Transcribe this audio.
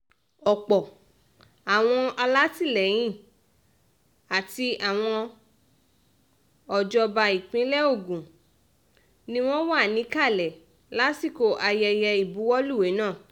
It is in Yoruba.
ọ̀pọ̀ àwọn alátìlẹyìn àti àwọn ọ̀jọ̀bá ìpínlẹ̀ ogun ni wọ́n wà níkàlẹ̀ lásìkò ayẹyẹ ìbuwọ́luwé náà